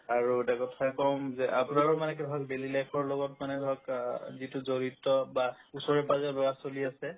আৰু এটা কথা কম যে আপোনাৰো মানে কি হয় daily life ৰ লগত মানে ধৰক আ যিটো জৰিত বা ওচৰে-পাজৰে ল'ৰা-ছোৱালী আছে